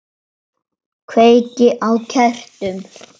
Kveiki á kertum.